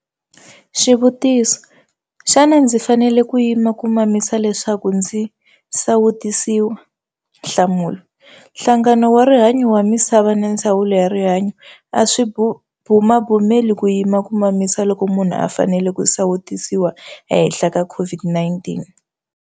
Xivutiso- Xana ndzi fanele ku yima ku mamisa leswaku ndzi sawutisiwa? Nhlamulo- Nhlangano wa Rihanyo wa Misava na Ndzawulo ya Rihanyo a swi bumabumeli ku yima ku mamisa loko munhu a fanele ku sawutisiwa ehenhla ka COVID-19.